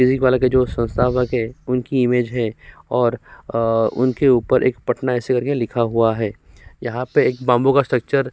physics वाला के जो संस्थापक हैं उनकी इमेज है और आ उनके ऊपर एक पटना ऐसे कर के लिखा हुआ है यहां पे एक बाम्बू का स्ट्रक्चर --